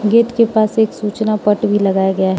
gate के पास एक सूचना पट भी लगाया गया --